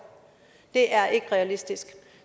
det er ikke realistisk